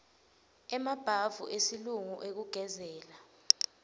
emabhavu esilungu ekugezela